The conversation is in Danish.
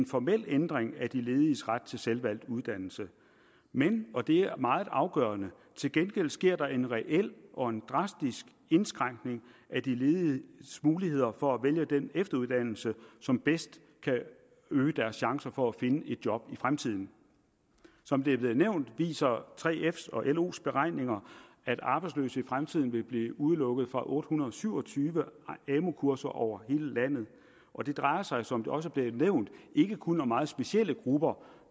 formel ændring af de lediges ret til selvvalgt uddannelse men og det er meget afgørende til gengæld sker der en reel og drastisk indskrænkning af de lediges muligheder for at vælge den efteruddannelse som bedst kan øge deres chancer for at finde et job i fremtiden som det er blevet nævnt viser 3fs og los beregninger at arbejdsløse i fremtiden vil blive udelukket fra otte hundrede og syv og tyve amu kurser over hele landet og det drejer sig som det også blev nævnt ikke kun om meget specielle grupper